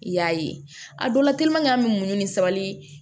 I y'a ye a dɔ la an bɛ muɲu ni sabali